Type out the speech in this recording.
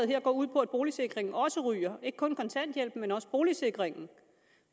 her går ud på at boligsikringen også ryger det ikke kun kontanthjælpen men også boligsikringen